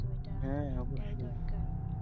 so এটা এটাই দরকার